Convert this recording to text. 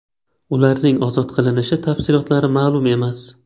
Ularning ozod qilinishi tafsilotlari ma’lum emas.